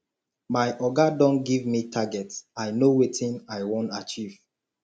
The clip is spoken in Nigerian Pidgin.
my oga don give me target i know wetin i wan achieve